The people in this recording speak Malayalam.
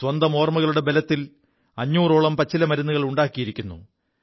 സ്വന്തം ഓർമ്മകളുടെ ബലത്തിൽ അഞ്ഞൂറോളം പച്ചില മരുുകൾ ഉണ്ടാക്കിയിരിക്കുു